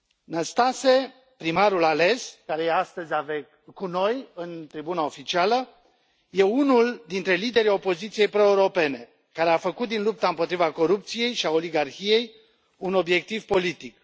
Năstase, primarul ales, care este astăzi cu noi, în tribuna oficială, este unul dintre liderii opoziției proeuropene, care a făcut din lupta împotriva corupției și a oligarhiei un obiectiv politic.